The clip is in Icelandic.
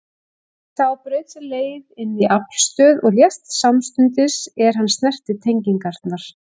Sá braut sér leið inn í aflstöð og lést samstundis er hann snerti tengingarnar.